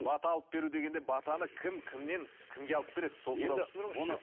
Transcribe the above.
бата алып беру дегенде батаны кім кімнен кімге алып береді сол туралы түсіндіріңізші